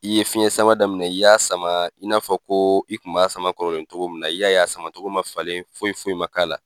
I ye fiɲɛ sama daminɛ, i y'a sama i n'a fɔ ko i kun b'a sama kɔrɔlen cogo min na i y'a ye a sama togo ma falen foyi foyi ma